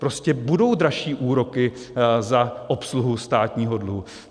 Prostě budou dražší úroky za obsluhu státního dluhu.